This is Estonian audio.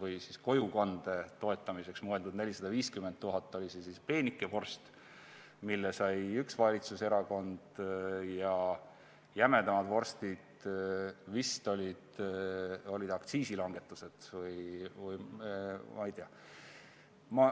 või kojukande toetamiseks mõeldud 450 000 oli siis see peenike vorst, mille sai üks valitsuserakond, ja jämedamad vorstid olid vist aktsiisilangetused või ma ei tea.